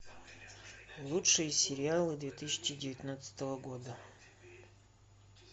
лучшие сериалы две тысячи девятнадцатого года